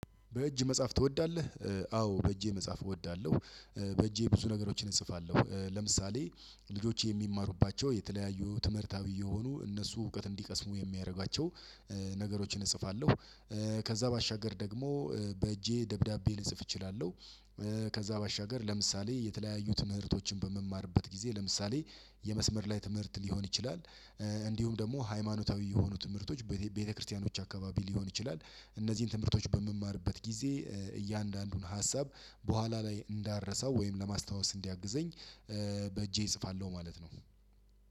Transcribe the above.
በእጅ መጽሐፍ ትወዳለህ? አዎ በእጄ መጽሐፍ እወዳለሁ። በእጄ ብዙ ነገሮችን እጽፋለሁ ለምሳሌ ልጆች የሚማሩባቸው የተለያዩ ትምህርታዊ የሆኑ እነሱ እውቀት እንዲቀስሙ የሚያደርጋቸው። ነገሮችን እጽፋለሁ። ከዛ ባሻገር ደግሞ በእጄ ደብዳቤ ልጽፍ እችላለሁ። ከዛ ባሻገር ለምሳሌ የተለያዩ ትምህርቶችን በመማርበት ጊዜ ለምሳሌ የመስመር ላይ ትምህርት ሊሆን ይችላል። እንዲሁም ደግሞ ሃይማኖታዊ የሆኑ ትምህርቶች ቤተክርስቲያኖች አካባቢ ሊሆን ይችላል እነዚህን ትምህርቶች በምማርበት ጊዜ እያንዳንዱን ሀሳብ በኋላ ላይ እንዳረሳው ወይም ለማስታወስ እንዲያግዘኝ። በእጄ እጽፋለሁ ማለት ነው።